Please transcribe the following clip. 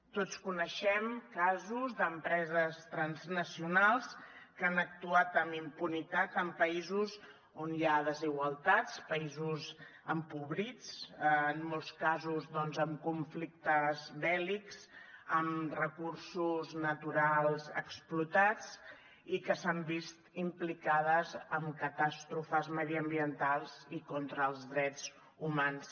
tots coneixem casos d’empreses transnacionals que han actuat amb impunitat en països on hi ha desigualtats països empobrits en molts casos doncs amb conflictes bèl·lics amb recursos naturals explotats i que s’han vist implicades en catàstrofes mediambientals i contra els drets humans